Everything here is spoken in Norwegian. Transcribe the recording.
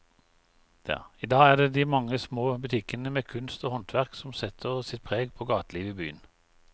I dag er det de mange små butikkene med kunst og håndverk som setter sitt preg på gatelivet i byen.